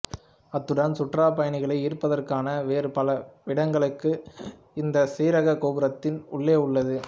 அத்துடன் சுற்றுலாப் பயணிகளை ஈர்ப்பதற்கான வேறு பல விடயங்களும் இந்தச் சிகரக் கோபுரத்தின் உள்ளே உள்ளது